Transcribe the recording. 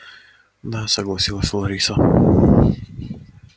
да согласилась лариса